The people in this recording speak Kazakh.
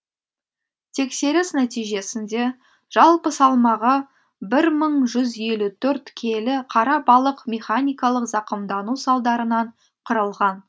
тексеріс нәтижесінде жалпы салмағы бір мың жүз елу төрт келі қара балық механикалық зақымдану салдарынан қырылған